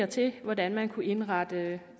til hvordan man kunne indrette